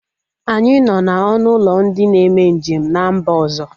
Anyị nọ na ọnụ ụlọ ndị na-eme njem n'mba ọzọ